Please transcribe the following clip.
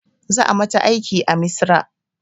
Za a mata aiki a misra